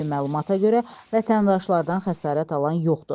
İlkin məlumata görə, vətəndaşlardan xəsarət alan yoxdur.